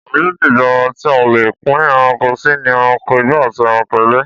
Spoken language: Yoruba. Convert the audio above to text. Ọ̀nà méjì gbòòrò tí a lè pín ẹranko sì ni ẹranko igbó àti ẹranko ilé